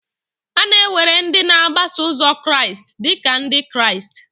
A na-ewere ndị na-agbaso ụzo Jizọs Kraịst dị ka Ndị Kraịst.